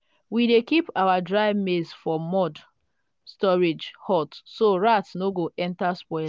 we dey keep our dry maize for mud storage hut so rat no go enter spoil